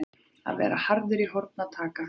Að vera harður í horn að taka